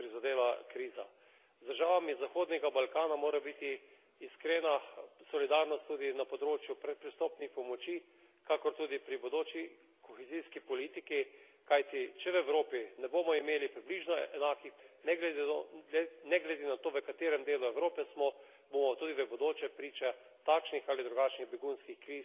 Z državami Zahodnega Balkana mora biti iskrena solidarnost tudi na področju predpristopnih pomoči, kakor tudi pri bodoči kohezijski politiki, kajti če v Evropi ne bomo imeli približno enakih pogojev za življenje, ne glede na to, v katerem delu Evrope smo, bomo tudi v bodoče priča takšnim ali drugačnim begunskim krizam, ki si jih ne želimo.